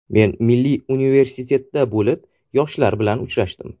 Men Milliy universitetda bo‘lib yoshlar bilan uchrashdim.